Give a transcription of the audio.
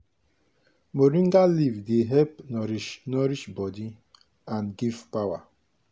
moringa leaf soup dey help nourish nourish body and give power.